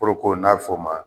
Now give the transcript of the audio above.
Koloko n'a bɛ fɔ o ma